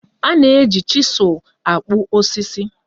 A na-eji chizul akpụ osisi